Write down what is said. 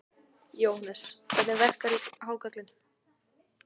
Jóhannes: Hvernig verkarðu hákarlinn?